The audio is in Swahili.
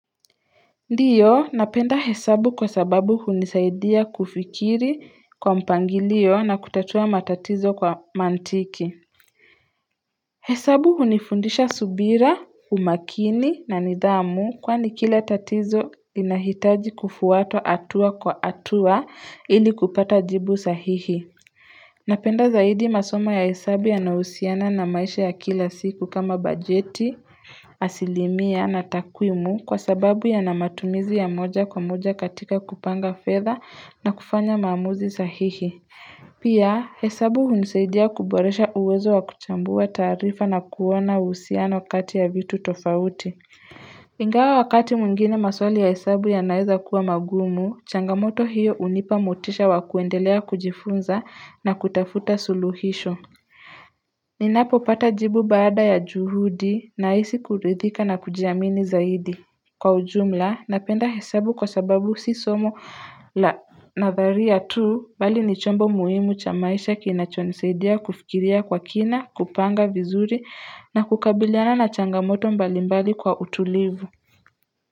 Ndiyo, napenda hesabu kwa sababu hunisaidia kufikiri kwa mpangilio na kutatua matatizo kwa maantiki. Hesabu hunifundisha subira, umakini na nidhamu kwani kila tatizo inahitaji kufuata hatua kwa hatua ili kupata jibu sahihi. Napenda zaidi masomo ya hesabu yanayo husiana na maisha ya kila siku kama bajeti, asilimia na takwimu kwa sababu yana matumizi ya moja kwa moja katika kupanga fedha na kufanya maamuzi sahihi Pia hesabu hunisaidia kuboresha uwezo wa kuchambua taarifa na kuwa na uhusiano kati ya vitu tofauti Ingawa wakati mwingine maswali ya hesabu yanaeza kuwa magumu, changamoto hiyo hunipa motisha wakuendelea kujifunza na kutafuta suluhisho Ninapopata jibu baada ya juhudi nahisi kuridhika na kujiamini zaidi Kwa ujumla napenda hesabu kwa sababu si somo la natharia tu bali ni chombo muhimu cha maisha kinachonisaidia kufikiria kwa kina kupanga vizuri na kukabiliana na changamoto mbalimbali kwa utulivu.